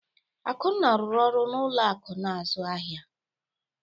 Akunna rụrụ ọrụ n’ụlọ akụ̀ na-azụ ahịa.